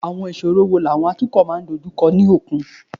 Àwọn ìṣòro wo làwọn atukọ̀ máa ń dojú kọ ní òkun?